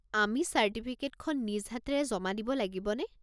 আমি চাৰ্টিফিকেটখন নিজ হাতেৰে জমা দিব লাগিব নে?